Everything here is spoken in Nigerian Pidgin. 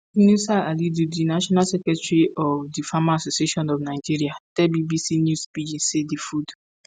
yunusa halidu di national secretary of di farmers association of nigeria tell bbc news pidgin say "di food